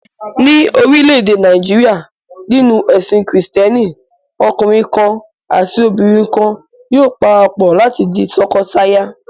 Ní orílẹ̀-èdè Nàìjíríà, nínú ẹ̀sìn Kìrìtẹ́ẹ́nì, ọkùnrin kan àti obìnrin kan yóò para pọ̀ láti di tọkọtaya.